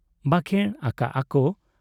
ᱵᱟᱠᱷᱮᱬ ᱟᱠᱟᱜ ᱟ ᱠᱚ ,